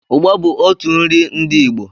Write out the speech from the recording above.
ụgba bụ out nri ndi Igbo